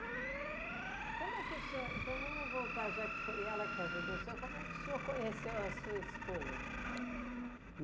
Como é que o senhor, então vamos voltar, já que foi ela que ajudou o senhor, como é que o senhor conheceu a sua esposa?